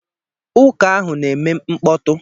Ụka ahụ na-eme mkpọtụ